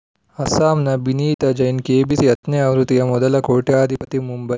ಅಸ್ಸಾಂನ ಬಿನೀತಾ ಜೈನ್‌ ಕೆಬಿಸಿ ಹತ್ತನೇ ಆವೃತ್ತಿಯ ಮೊದಲ ಕೋಟ್ಯಧಿಪತಿ ಮುಂಬೈ